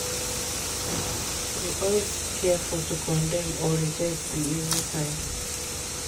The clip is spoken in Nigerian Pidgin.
to de always careful to condem or reject be easy sign.